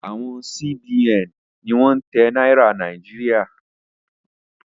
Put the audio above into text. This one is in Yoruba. Awọn Sí-Bi-Ẹ̀n ni wọ́n ń tẹ Náírà Nàíjíríà.